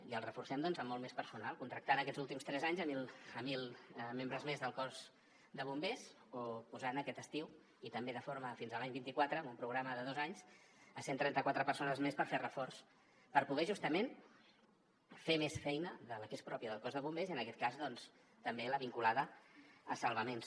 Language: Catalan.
i el reforcem doncs amb molt més personal contractant aquests últims tres anys mil membres més del cos de bombers o posant aquest estiu i també fins a l’any vint quatre en un programa de dos anys cent i trenta quatre persones més per fer reforç per poder justament fer més feina de la que és pròpia del cos de bombers i en aquest cas doncs també la vinculada a salvaments